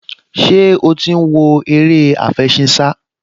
Ṣé ó ti ń wo eré àfẹṣinsá?